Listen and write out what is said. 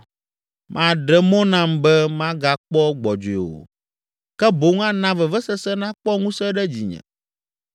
Maɖe mɔ nam be magakpɔ gbɔdzɔe o, ke boŋ ana vevesese nakpɔ ŋusẽ ɖe dzinye.